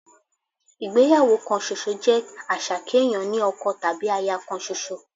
Ìgbéyàwó kan ṣoṣo jẹ́ àṣà kéèyàn ní ọkọ tàbí aya kan ṣoṣo